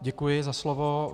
Děkuji za slovo.